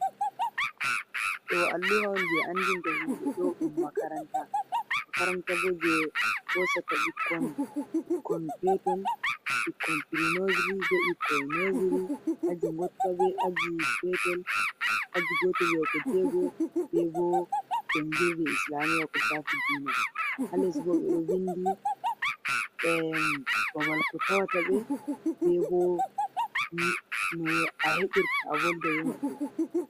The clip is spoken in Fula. Ɗo alluha on je anɗin ta himbe ɗodun makaranta. Makaranta bo je hosata bikkon, bikoon peton bikkon piri nosori be bikkon nosori, aji gotta be aji petel. Aji gotal yahugo jego. Bebo jangirɗe islamiya kushafi ɗina. Ha les bo ɓe ɗo vinɗi. Babal ko tawatabe bebo a hebirta avolɗa be mabbe.